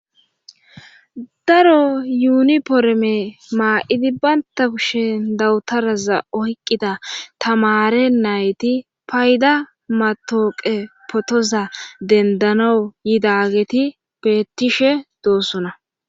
daro yuuni poreme maa7idi baynta kushen dawutaraza oyqqida tamare nayti payda matooqe potoza dendano yidageti bettishe doossona